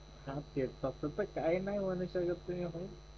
हा ते तसं त काहीनाही म्हणू शकत तुम्ही भाऊ